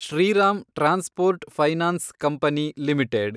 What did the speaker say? Shriram transport finance company limited